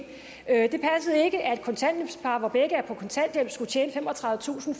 at par hvor begge var på kontanthjælp skulle tjene femogtredivetusind